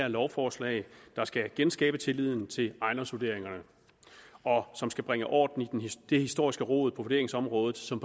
her lovforslag der skal genskabe tilliden til ejendomsvurderingerne og som skal bringe orden i det historiske rod på vurderingsområdet som